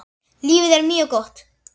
Lífið er mjög gott.